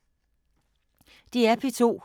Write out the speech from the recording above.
DR P2